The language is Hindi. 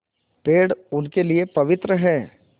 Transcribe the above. पेड़ उनके लिए पवित्र हैं